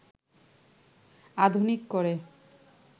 আধুনিক করে